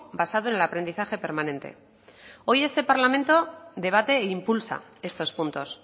basado en el aprendizaje permanente hoy este parlamento debate e impulsa estos puntos